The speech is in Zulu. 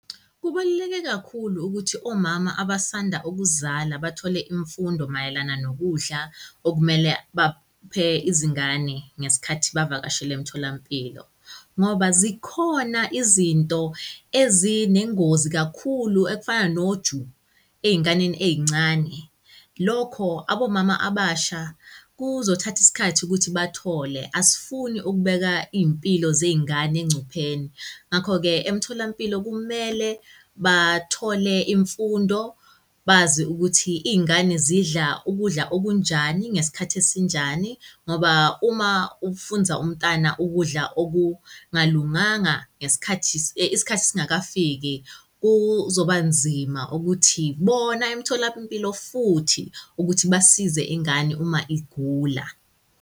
Kubaluleke kakhulu ukuthi omama abasanda ukuzala bathole imfundo mayelana nokudla okumele baphe izingane ngesikhathi bavakashele emtholampilo ngoba zikhona izinto ezinengozi kakhulu ekufana noju ey'nganeni ey'ncane. Lokho abomama abasha kuzothatha isikhathi ukuthi bathole, asifuni ukubeka iy'mpilo zey'ngane engcupheni. Ngakho-ke emtholampilo kumele bathole imfundo, bazi ukuthi iy'ngane zidla ukudla okunjani, ngesikhathi esinjani ngoba uma ufunza umtana ukudla okungalunganga ngesikhathi, isikhathi singakafiki kuzoba nzima ukuthi bona emtholampilo futhi ukuthi basize ingane uma igula.